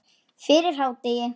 Fyrir hádegi.